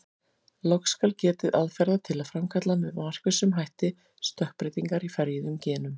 Loks skal getið aðferða til að framkalla með markvissum hætti stökkbreytingar í ferjuðum genum.